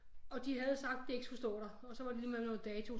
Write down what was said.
Og de havde sagt de ikke skulle stå der og så var det lige med noget dato